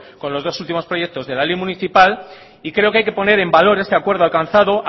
con los dos últimos proyectos de la ley municipal y creo que hay que poner en valor este acuerdo alcanzado